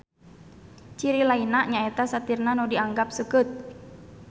Ciri lainna nyaeta satirna nu dianggap seukeut.